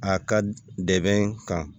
A ka dɛmɛ kan